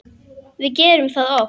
Við gerum það oft.